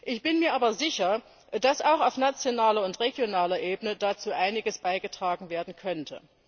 Ich bin mir aber sicher, dass auch auf nationaler und regionaler Ebene dazu einiges beigetragen werden könnte.